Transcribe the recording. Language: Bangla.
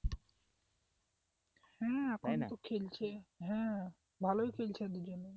হ্যাঁ এখন তো খেলছে হ্যাঁ ভালোই খেলছে দুজনে।